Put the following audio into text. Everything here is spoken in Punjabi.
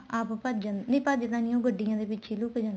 ਆਪ ਭੱਜ ਜਾਂਦਾ ਨਹੀਂ ਭੱਜ ਦਾ ਨਹੀਂ ਉਹ ਗੱਡੀਆਂ ਦੇ ਪਿੱਛੇ ਲੁੱਕ ਜਾਂਦਾ